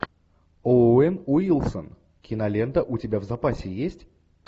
оуэн уилсон кинолента у тебя в запасе есть